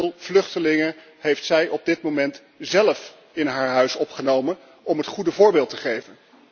Hoeveel vluchtelingen heeft zij op dit moment zelf in haar huis opgenomen om het goede voorbeeld te geven?